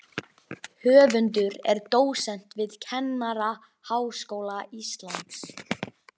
Höfundur er dósent við Kennaraháskóla Íslands.